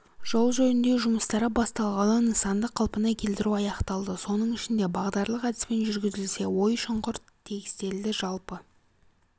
жол жөндеу жұмыстары басталғалы нысанды қалпына келтіру аяқталды соның ішінде бағдарлық әдіспен жүргізілсе ой-шұңқыр тегістелді жалпы